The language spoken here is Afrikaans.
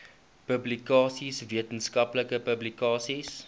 publikasies wetenskaplike publikasies